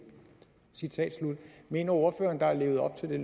citat slut mener ordføreren der er levet op til